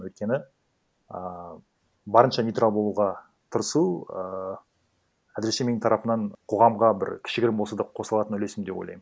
өйткені ааа барынша нейтрал болуға тырысу ыыы әзірше менің тарапымнан қоғамға бір кішігірім болса да қосылатын үлесім деп ойлаймын